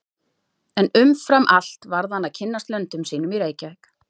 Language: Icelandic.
En umfram allt varð hann að kynnast löndum sínum í Reykjavík.